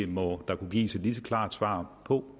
må der kunne gives et lige så klart svar på